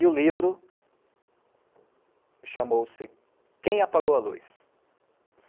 E o livro chamou-se Quem Apagou a Luz?